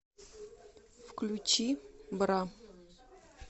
включи бра